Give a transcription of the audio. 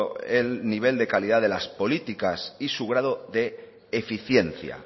el nivel de calidad de las políticas y su grado de eficiencia